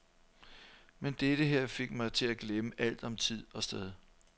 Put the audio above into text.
Men dette her fik mig til at glemme alt om tid og sted.